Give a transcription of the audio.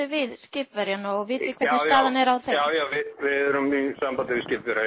við skipverjana já já já við erum í sambandi við skipverja